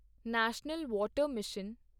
national water mission